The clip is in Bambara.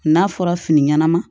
N'a fɔra fini ɲɛnama